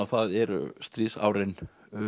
það eru stríðsárin